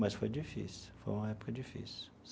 Mas foi difícil, foi uma época difícil.